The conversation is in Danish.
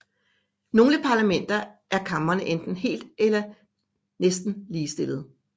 I nogle parlamenter er kamrene enten helt eller næsten ligestillede